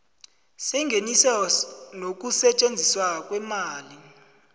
sengeniso nokusetjenziswa kweemali